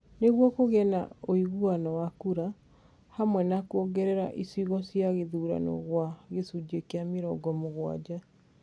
Nĩguo kũgĩe na ũiganano wa kura. Hamwe na kwongerere icigo cia gĩthurano gwa gĩcunjĩ kĩa mĩrongo mũgwanja,